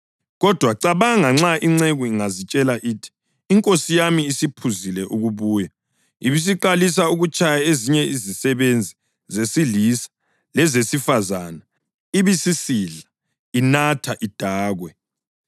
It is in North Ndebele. Kodwa cabanga nxa inceku ingazitshela ithi, ‘Inkosi yami isiphuzile ukubuya,’ ibisiqalisa ukutshaya ezinye izisebenzi zesilisa lezesifazane, ibisisidla, inatha idakwe.